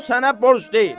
O sənə borc deyil.